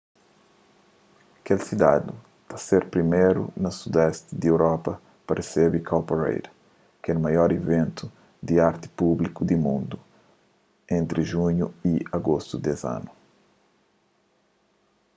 kel sidadi ta ser priméru na sudesti di europa pa resebe cowparade kel maior iventu di arti públiku di mundu entri junhu y agostu des anu